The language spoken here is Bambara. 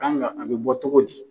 A kan ka an bi bɔ togo di ?